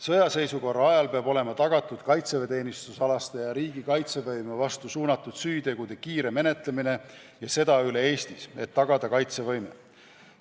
Sõjaseisukorra ajal peab olema tagatud kaitseväeteenistusalaste ja riigi kaitsevõime vastu suunatud süütegude kiire menetlemine – ja seda üle Eesti –, et tagada kaitsevõime.